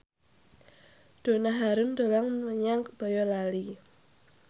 Donna Harun dolan menyang Boyolali